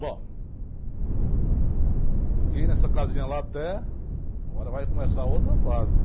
Bom... Fiquei nessa casinha lá até... Agora vai começar outra fase.